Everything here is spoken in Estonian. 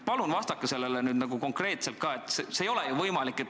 Palun vastake konkreetselt.